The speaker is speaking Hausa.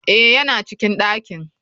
Eh yana cikin dakin.